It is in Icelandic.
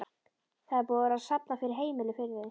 Það er búið að vera safna fyrir heimili fyrir þau?